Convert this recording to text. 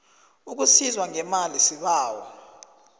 ukusizwa ngemali sibawa